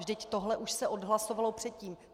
Vždyť tohle už se odhlasovalo předtím.